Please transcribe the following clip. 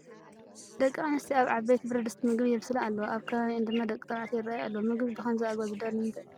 ደቂ ኣነስትዮ ኣብ ዓበይቲ ብረድስቲ ምግቢ የብስላ ኣለዋ፡፡ ኣብ ከባቢአን ድማ ደቂ ተባዕትዮ ይርአዩ ኣለዉ፡፡ ምግቢ ብኸምዚ ኣገባብ ዝዳሎ ንምንታይ እዩ?